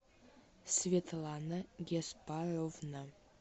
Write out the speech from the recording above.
светлана геспаровна